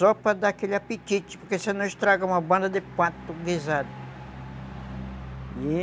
Só para dar aquele apetite, porque senão estraga uma banda de pato guisado.